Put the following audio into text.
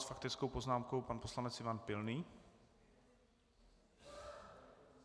S faktickou poznámkou pan poslanec Ivan Pilný.